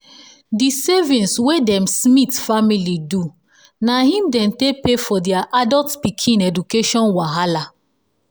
the savings wey them smiths' family do na him dey take pay for their adult pikin education wahala.